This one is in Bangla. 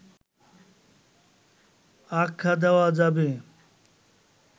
আখ্যা দেওয়া যাবে